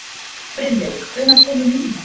Brynleifur, hvenær kemur nían?